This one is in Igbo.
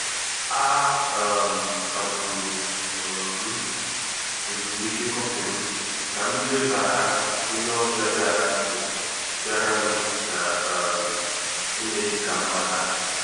A um kagburu um m ezumike kọfị m ka m lebara onye ọbịa bịara nụ bịara nụ ná um emeghị ka mmata.